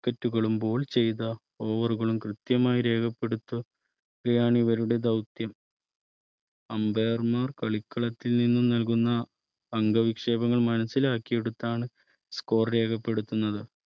Viket കളും Bowl ചെയ്ത Over കളും കൃത്യമായി രേഖപ്പെടുത്തുകയാണ് ഇവരുടെ ദൗത്യം Ambire മാർ കളിക്കളത്തിൽ നിന്നും നൽകുന്ന അംഗവിക്ഷേപങ്ങൾ മനസ്സിലാക്കിയെ ടുത്താണ് Score രേഖപ്പെടുത്തുന്നത്